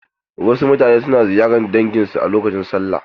Wasu mutane suna na ziyarar dangin su a lokacin sallah.